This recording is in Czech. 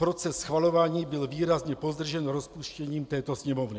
Proces schvalování byl výrazně pozdržen rozpuštěním této Sněmovny.